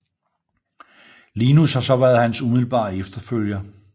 Linus har så været hans umiddelbare efterfølger